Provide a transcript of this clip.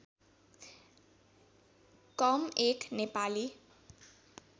कम एक नेपाली